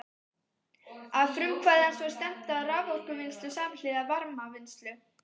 Að frumkvæði hans var stefnt að raforkuvinnslu samhliða varmavinnslu.